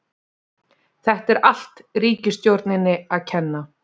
Þetta er allt ríkisstjórninni að kenna.